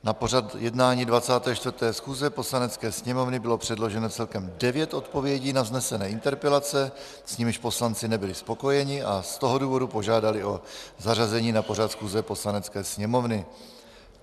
Na pořad jednání 24. schůze Poslanecké sněmovny bylo předloženo celkem devět odpovědí na vznesené interpelace, s nimiž poslanci nebyli spokojeni, a z toho důvodu požádali o zařazení na pořad schůze Poslanecké sněmovny.